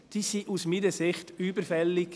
Sie sind aus meiner Sicht überfällig.